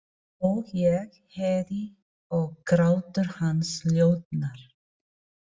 Og ég heyri að grátur hans hljóðnar.